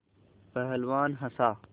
पहलवान हँसा